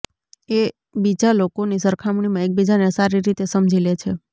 એ બીજા લોકોની સરખામણીમાં એકબીજાને સારી રીતે સમજી લે છે